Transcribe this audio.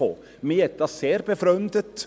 Mich hat dies sehr befremdet.